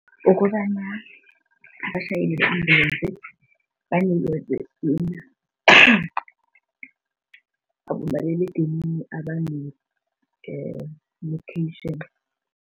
Ukobana abatjhayeli bama-ambulensi banikelwe abomaliledinini abane-location.